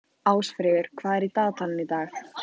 Ásfríður, hvað er í dagatalinu í dag?